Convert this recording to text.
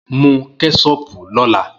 Mu kẹṣopu lọla!